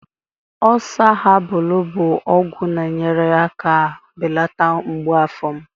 Oosaa habalụ bụ ọgwụ na-enyere aka belata mgbu afọ m.